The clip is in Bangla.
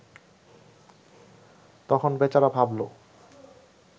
তখন বেচারা ভাবল